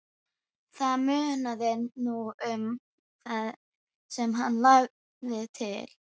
Það munaði nú um það sem hann lagði til.